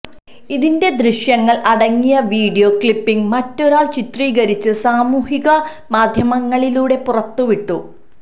ഇതിന്റെ ദൃശ്യങ്ങൾ അടങ്ങിയ വീഡിയോ ക്ലിപ്പിംഗ് മറ്റൊരാൾ ചിത്രീകരിച്ച് സാമൂഹികമാധ്യമങ്ങളിലൂടെ പുറത്തുവിട്ടു